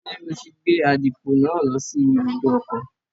Ṣé o ti gbé àdìpọ̀ náà lọ sí ibùdó ọkọ̀?